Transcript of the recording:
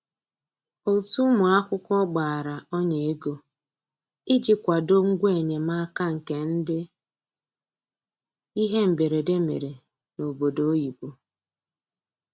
Otu ụmụ akwụkwọ gbara ọnya ego iji kwado ngwa enyemaka nke ndị ihe mberede mere n'obodo oyibo